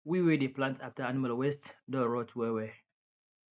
we wey dey plant after animal waste don rot well well